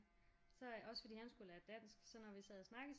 Så også fordi at han skulle lære dansk så når vi sad og snakkede